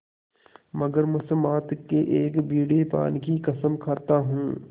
मगर मुसम्मात के एक बीड़े पान की कसम खाता हूँ